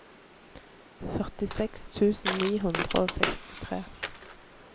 førtiseks tusen ni hundre og sekstitre